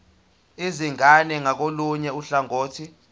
izingane ngakolunye uhlangothi